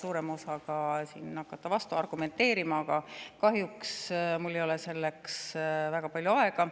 suuremale osale teist siin vastu argumenteerida, aga kahjuks ei ole mul selleks väga palju aega.